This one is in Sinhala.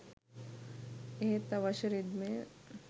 එහෙත් අවශ්‍ය රිද්මය